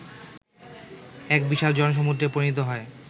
এক বিশাল জনসমূদ্রে পরিণত হয়